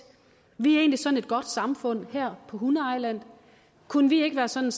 vi er egentlig sådan et godt samfund her på hunde ejland kunne vi ikke være sådan